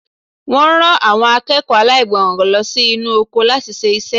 Wọ́n rán àwọn akẹ́kọ̀ọ́ aláìgbọràn lọ sí inú oko láti ṣe iṣẹ́.